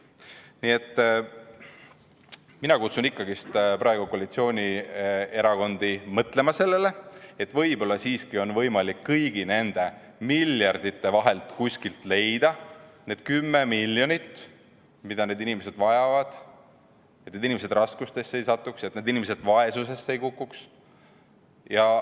Nii et mina kutsun ikkagi praegu koalitsioonierakondi mõtlema sellele, et võib-olla siiski on võimalik kõigi nende miljardite vahelt kuskilt leida need 10 miljonit, mida need inimesed vajavad, et need inimesed raskustesse ei satuks, et need inimesed vaesusesse ei kukuks.